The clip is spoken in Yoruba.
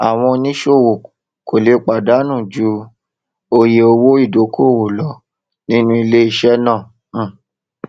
àwọn oníṣòwò kò lè pàdánù ju oye owó ìdókòwò lọ nínú iléiṣẹ náà um